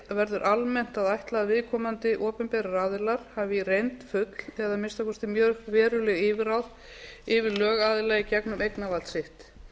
verður almennt að ætla að viðkomandi opinberir aðilar hafi í reynd full eða að minnsta kosti mjög veruleg yfirráð yfir lögaðila í gegnum eignarvald sitt rétt er